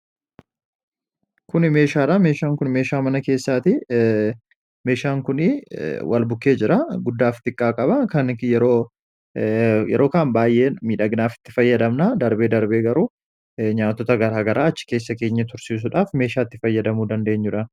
kun meeshaadha. meeshaan kun meeshaa mana keessaati meeshaan kunii wal bukkee jira guddaaf xiqqaa qaba kan yeroo kan baayee midhaginaaf itti fayyadamna darbee darbee garuu nyaatota garagaraa achi keessa keenye tursiisuudhaaf meeshaa itti fayyadamuu dandeenyuda